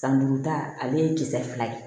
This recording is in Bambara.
San duuru ta ale ye kisɛ fila ye